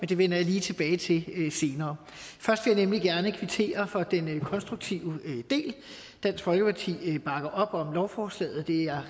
det vender jeg lige tilbage til senere først vil jeg nemlig gerne kvittere for den konstruktive del dansk folkeparti bakker op om lovforslaget det er